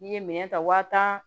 N'i ye minɛn ta wa tan